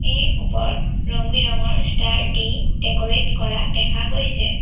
এই ওপৰত ৰং বিৰঙৰ ষ্টাৰ দি ডেক'ৰেট কৰা দেখা গৈছে।